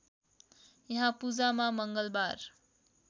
यहाँ पूजामा मङ्गलबार